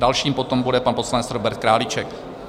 Dalším pak bude pan poslanec Robert Králíček.